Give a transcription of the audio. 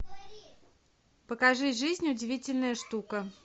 покажи жизнь удивительная штука